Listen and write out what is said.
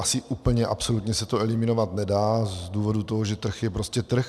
Asi úplně absolutně se to eliminovat nedá z toho důvodu, že trh je prostě trh.